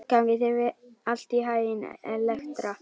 Gangi þér allt í haginn, Elektra.